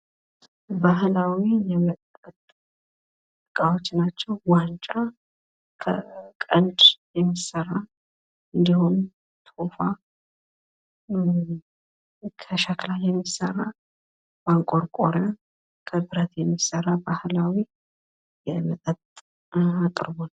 ባህላዊ የመጠጥ እቃዎች ይታያሉ። እነዚህም ዋንጫ ከከብት ቀንድ የሚሰራ ፣ ቶፋ ከሸክላ አፈር የሚሰራ እና ማንቆርቆሪያ ከብረት የሚሰራ ነው።